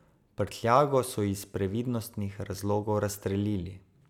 Prtljago so iz previdnostnih razlogov razstrelili.